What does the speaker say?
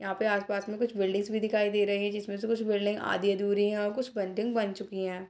यहाँ आस-पास में कुछ बिल्डिंग भी दिखाई दे रही है जिसमें से कुछ बिल्डिंग आधी अधूरी है और कुछ बिल्डिंग बन चुकी हैं।